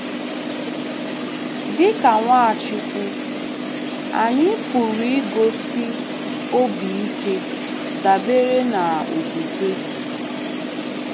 Dịka Nwachukwu, anyị pụrụ igosi obi ike dabere na okwukwe